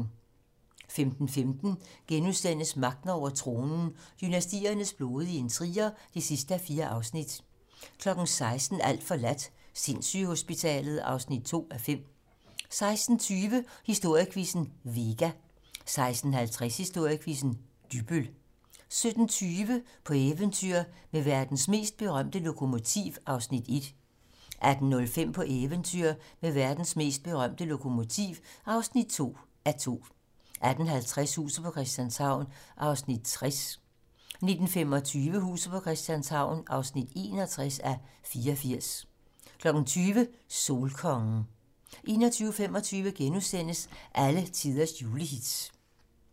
15:15: Magten over tronen - dynastiernes blodige intriger (4:4)* 16:00: Alt forladt - sindssygehospitalet (2:5) 16:20: Historiequizzen: Vega 16:50: Historiequizzen: Dybbøl 17:20: På eventyr med verdens mest berømte lokomotiv (1:2) 18:05: På eventyr med verdens mest berømte lokomotiv (2:2) 18:50: Huset på Christianshavn (60:84) 19:25: Huset på Christianshavn (61:84) 20:00: Solkongen 21:25: Alletiders julehits *